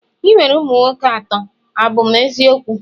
ị nwere ụmụ nwoke atọ, a bụ m eziokwu?